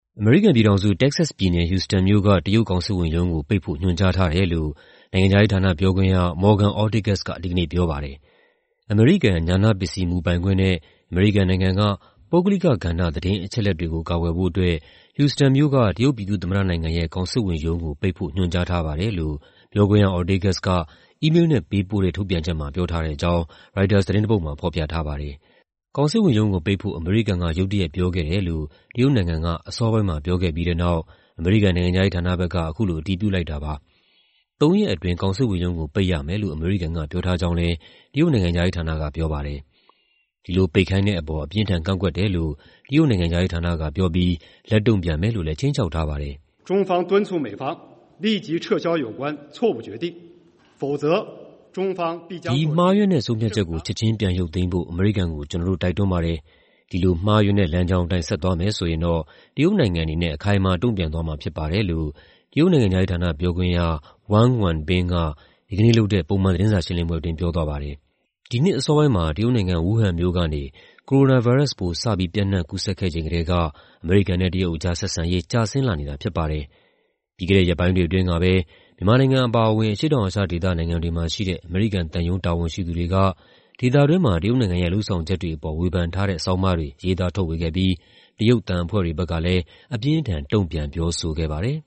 အမေရိကန်ပြည်ထောင်စု၊ တက္ကဆက်စ်ပြည်နယ်၊ ဟူစတန်မြို့က တရုတ်ကောင်စစ်ဝန်ရုံးကို ပိတ်ဖို့ ညွှန်ကြားထားတယ်လို့ နိုင်ငံခြားရေးဌာနပြောခွင့်ရ Morgan Ortagus က ဒီကနေ့ပြောပါတယ်။ "အမေရိကန် ဉာဏပစ္စည်း မူပိုင်ခွင့်နဲ့ အမေရိကန်နိုင်ငံက ပုဂ္ဂလိကကဏ္ဍ သတင်းအချက်အလက်တွေကို ကာကွယ်ဖို့အတွက် ဟူစတန်မြို့က တရုတ်ပြည်သူ့သမ္မတနိုင်ငံရဲ့ ကောင်စစ်ဝန်ရုံးကို ပိတ်ဖို့ ညွှန်ကြားထားပါတယ်။" လို့ ပြောခွင့်ရ Ortagus က အီးမေးလ်နဲ့ပေးပို့တဲ့ ထုတ်ပြန်ချက်မှာ ပြောထားတဲ့အကြောင်း ရိုက်တာသတင်းတပုဒ်မှာ ဖော်ပြထားပါတယ်။ ကောင်စစ်ဝန်ရုံးကိုပိတ်ဖို့ အမေရိကန်က ရုတ်တရက်ပြောခဲ့တယ်လို့ တရုတ်နိုင်ငံက အစောပိုင်းမှာ ပြောခဲ့ပြီးတဲ့နောက် အမေရိကန် နိုင်ငံခြားရေးဌာနဘက်က အခုလို အတည်ပြုလိုက်တာပါ။ သုံးရက်အတွင်း ကောင်စစ်ဝန်ရုံးကို ပိတ်ရမယ်လို့ အမေရိကန်က ပြောထားကြောင်းလည်း တရုတ် နိုင်ငံခြားရေးဌာနက ပြောပါတယ်။ ဒီလိုပိတ်ခိုင်းတဲ့အပေါ် အပြင်းအထန် ကန့်ကွက်တယ်လို့ တရုတ်နိုင်ငံခြားရေးဌာနကပြောပြီး လက်တုံ့ပြန်မယ်လို့လည်း ခြိမ်းခြောက်ထားပါတယ်။ "ဒီ မှားယွင်းတဲ့ ဆုံးဖြတ်ချက်ကို ချက်ခြင်း ပြန်ရုပ်သိမ်းဖို့ အမေရိကန်ကို ကျနော်တို့ တိုက်တွန်းပါတယ်။ ဒီလို မှားယွင်းတဲ့လမ်းကြောင်းအတိုင်း ဆက်သွားမယ်ဆိုရင်တော့ တရုတ်နိုင်ငံအနေနဲ့ အခိုင်အမာ တုံ့ပြန်သွားမှာဖြစ်ပါတယ်။" လို့ တရုတ်နိုင်ငံခြားရေးဌာန ပြောခွင့်ရ Wang Wenbin က ဒီကနေ့လုပ်တဲ့ ပုံမှန်သတင်းစာရှင်းလင်းပွဲအတွင်း ပြောသွားပါတယ်။ ဒီနှစ်အစောပိုင်းမှာ တရုတ်နိုင်ငံ၊ ဝူးဟန်မြို့ကနေ ကိုရိုနာဗိုင်းရပ်စ်ပိုး စပြီးပျံ့နှံ့ကူးစက်ခဲ့ချိန်ကတည်းက အမေရိကန်နဲ့ တရုတ်ကြား ဆက်ဆံရေး ကျဆင်းလာနေတာဖြစ်ပါတယ်။ ပြီးခဲ့တဲ့ရက်ပိုင်းတွေအတွင်းကပဲ မြန်မာနိုင်ငံအပါအဝင် အရှေ့တောင်အာရှဒေသ နိုင်ငံတွေမှာရှိတဲ့ အမေရိကန်သံရုံး တာဝန်ရှိသူတွေက ဒေသတွင်းမှာ တရုတ်နိုင်ငံရဲ့ လုပ်ဆောင်ချက်တွေအပေါ် ဝေဖန်ထားတဲ့ ဆောင်းပါးတွေ ရေးသားထုတ်ဝေခဲ့ပြီး တရုတ် သံအဖွဲ့တွေဘက်ကလည်း အပြင်းအထန် တုံ့ပြန် ပြောဆိုခဲ့ပါတယ်